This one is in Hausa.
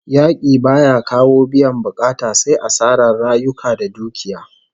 Yaki baya kawo biyan bukata sai asarar rayuka da dukiya